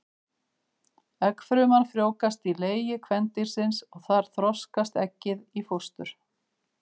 Eggfruman frjóvgast í legi kvendýrsins og þar þroskast eggið í fóstur.